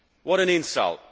What an insult!